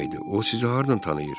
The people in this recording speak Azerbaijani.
O sizi hardan tanıyır?